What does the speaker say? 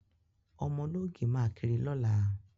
Ọmọ ológì máa kiri lọ́la.